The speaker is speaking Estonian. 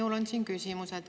Minul on siin küsimus.